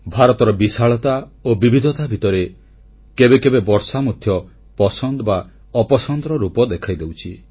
ଭାରତର ବିଶାଳତା ଓ ବିବିଧତା ଭିତରେ କେବେ କେବେ ବର୍ଷା ମଧ୍ୟ ପସନ୍ଦ ବା ନାପସନ୍ଦର ରୂପ ଦେଖାଇଦେଉଛି